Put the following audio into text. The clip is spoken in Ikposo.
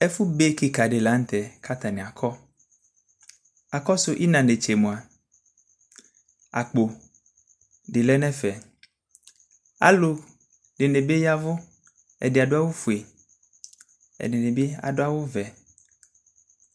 Ɛfʋbe kika di lanʋtɛ kʋ atani akɔ akɔsʋ ina netse mʋa akpo di lɛnʋ ɛfɛ alʋ dini bi ya ɛvʋ ɛdi adʋ awʋfue ɛdini bi adʋ awʋvɛ